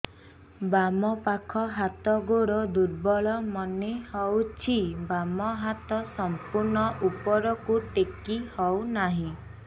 ବାମ ପାଖ ହାତ ଗୋଡ ଦୁର୍ବଳ ମନେ ହଉଛି ବାମ ହାତ ସମ୍ପୂର୍ଣ ଉପରକୁ ଟେକି ହଉ ନାହିଁ